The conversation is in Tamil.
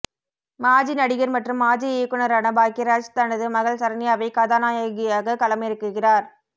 மாஜி நடிகர் மற்றும் மாஜி இயக்குனரான பாக்யராஜ் தனது மகள் சரண்யாவை கதாநாயகியாக களமிறக்குகிறார்